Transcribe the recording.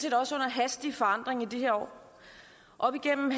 også under hastig forandring i de her år op igennem